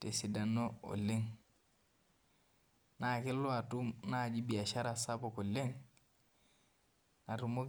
tesidano oleng na kelo atum naji biashara sapuk oleng natumoki.